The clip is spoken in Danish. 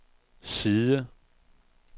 side